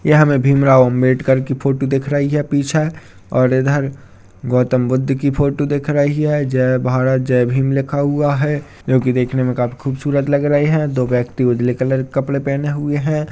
यहा हमें भीम राव अंबेडकर की फोटो दिख रही है पीछे और इधर गौतम बुद्ध की फोटो दिख रही है जय भारत जय भीम लिखा हुआ है जो की देखने में काफी खूबसूरत लग रहे है दो व्यक्ति उदले कलर के कपड़े पहने हुए है।